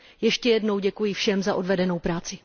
Ještě jednou děkuji všem za odvedenou práci.